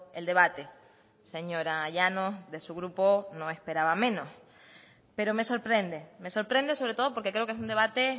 el debate señora llanos de su grupo no esperaba menos pero me sorprende me sorprende sobre todo porque creo que es un debate